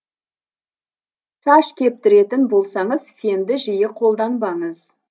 шаш кептіретін болсаңыз фенді жиі қолданбаңыз